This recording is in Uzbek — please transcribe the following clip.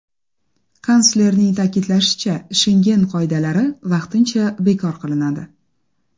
Kanslerning ta’kidlashicha, Shengen qoidalari vaqtincha bekor qilinadi.